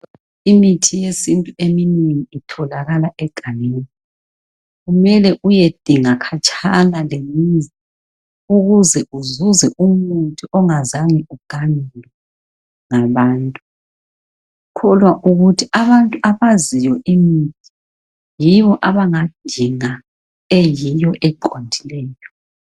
Imithi yesintu eminengi itholakala egangeni kumele uyedinga khatshana lemizi ukuze uzuze umuthi ongazange uganyulwe ngabantu kukhona abantu abaziyo imithi yibo abangadinga eyiyo eqondileyo